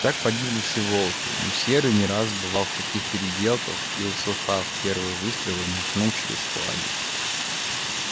так погибли все волки но серый не раз бывал в таких переделках и услыхав первые выстрелы махнул через флаги